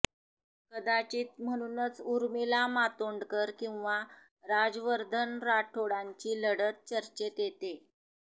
कदाचित म्हणूनच ऊर्मिला मातोंडकर किंवा राजवर्धन राठोडांची लढत चच्रेत येते